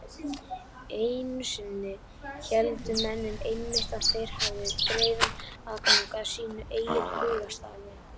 Einu sinni héldu menn einmitt að þeir hefðu greiðan aðgang að sínu eigin hugarstarfi.